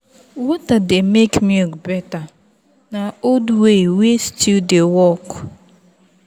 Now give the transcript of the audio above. water dey make milk better na old way wey still dey work.